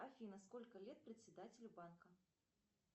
афина сколько лет председателю банка